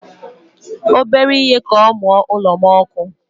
Obere ihe ka ọ mụọ ụlo m ọkụ